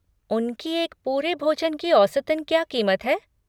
उनकी एक पूरे भोजन की औसतन क्या क़ीमत है?